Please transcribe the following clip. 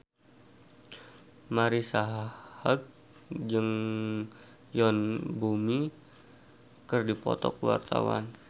Marisa Haque jeung Yoon Bomi keur dipoto ku wartawan